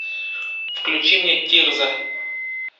включи мне тирза